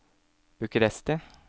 Bucuresti